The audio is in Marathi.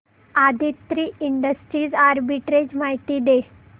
आदित्रि इंडस्ट्रीज आर्बिट्रेज माहिती दे